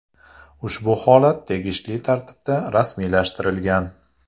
Ushbu holat tegishli tartibda rasmiylashtirilgan.